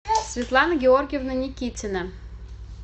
светлана георгиевна никитина